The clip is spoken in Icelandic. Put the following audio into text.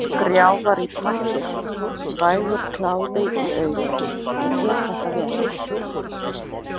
Skrjáfar í pappír, vægur kláði í augum, ég get þetta vel.